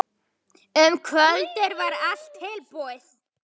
Um kvöldið var allt tilbúið.